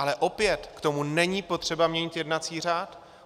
Ale opět, k tomu není potřeba měnit jednací řád.